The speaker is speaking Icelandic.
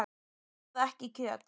Ég borða ekki kjöt.